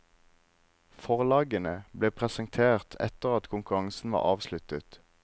Forlagene ble presentert etter at konkurransen var avsluttet.